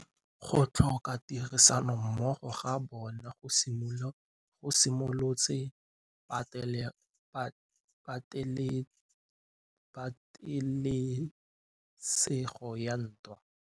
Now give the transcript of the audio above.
Go tlhoka tirsanommogo ga bone go simolotse patêlêsêgô ya ntwa.